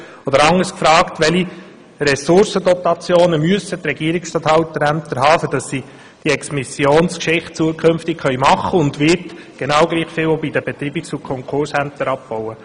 Oder anders gefragt, welche Ressourcenrotationen müssen die Regierungsstatthalterämter vornehmen, damit sie diese Exmissionen zukünftig machen können, und wird genau gleich viel bei den Betreibungs- und Konkursämtern abgebaut?